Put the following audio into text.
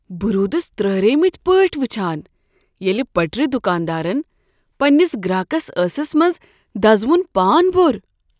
بہ رُودس ترہریمتۍ پٲٹھۍ وچھان ییٚلہ پٹرِ دکاندارن پننس گراکس ٲسس منز دزٕ وُن پان بوٚر۔